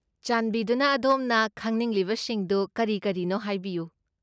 ꯆꯥꯟꯕꯤꯗꯨꯅ ꯑꯗꯣꯝꯅ ꯈꯪꯅꯤꯡꯂꯤꯕꯁꯤꯡꯗꯨ ꯀꯔꯤ ꯀꯔꯤꯅꯣ ꯍꯥꯏꯕꯤꯌꯨ꯫